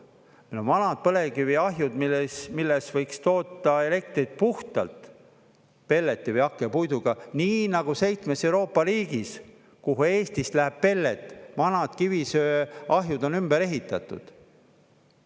Meil on vanad põlevkiviahjud, milles võiks toota elektrit puhtalt pelleti või hakkepuiduga, nii nagu seitsmes Euroopa riigis, kuhu Eestist läheb pellet, vanad kivisöeahjud on ümber ehitatud.